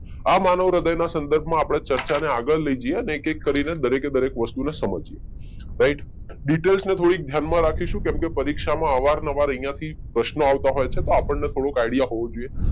આ માનવ હૃદય ના સંદર્ભમાં આપણે ચર્ચાને આગળ લઇ જઈએ અને એક એક કરીને દરેક વસ્તુને સમજીએ રાઈટ. ડીટેલસ ને થોડી ધ્યાન માં રાખીશું કેમ કે પરીક્ષા માં અવાર નવાર અહિયાંથી પ્રશ્નો આવતા હોય છે તો આપણને થોડોક આઈડિયા હોવો જોઈએ